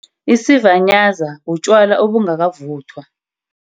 Isivanyaza, butjwala obungakavuthwa.